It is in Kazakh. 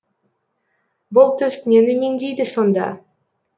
бұл түс нені меңзейді сонда